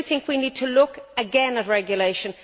I think we need to look again at regulation.